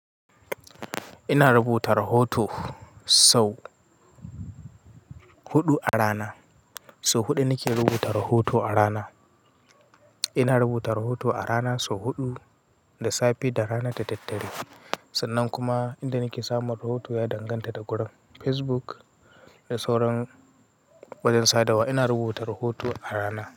Ina rubuta rahoto sau huɗu a rana. Sau huɗu nake rubuta rahoto a rana. Ina rubuta rahoto a rana sau huɗu, da safe, da rana, da daddare. Sannan kuma inda nake samun rahoto ya danganta da gurin Facebook da sauran wadansu sadawa. Ina rubuta rahoto a rana.